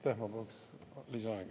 Ma palun lisaaega.